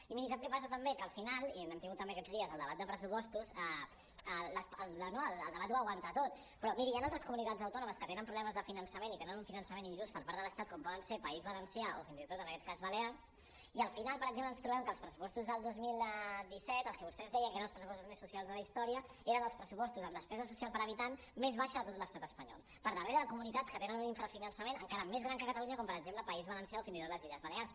i miri sap què passa també que al final i hem tingut també aquests dies el debat de pressupostos el debat ho aguanta tot però miri hi han altres comunitats autònomes que tenen problemes de finançament i tenen un finançament injust per part de l’estat com poden ser país valència o fins i tot en aquest cas balears i al final per exemple ens trobem que els pressupostos del dos mil disset els que vostès deien que eren els pressupostos més socials de la història eren els pressupostos amb despesa social per habitant més baixa de tot l’estat espanyol per darrere de comunitats que tenen un infrafinançament encara més gran que catalunya com per exemple el país valencià o fins i tot les illes balears